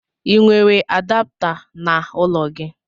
l nwere adapta na ụlọ gi?